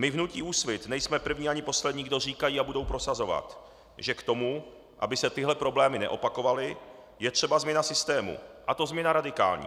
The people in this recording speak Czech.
My v hnutí Úsvit nejsme první ani poslední, kdo říkají a budou prosazovat, že k tomu, aby se tyhle problémy neopakovaly, je třeba změna systému, a to změna radikální.